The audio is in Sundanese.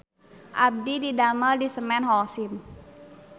Abdi didamel di Semen Holcim